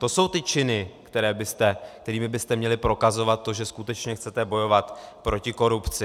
To jsou ty činy, kterými byste měli prokazovat to, že skutečně chcete bojovat proti korupci.